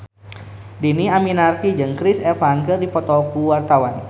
Dhini Aminarti jeung Chris Evans keur dipoto ku wartawan